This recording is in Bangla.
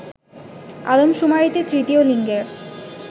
আদমশুমারিতে তৃতীয় লিঙ্গের